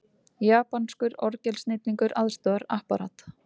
Japanskur orgelsnillingur aðstoðar Apparat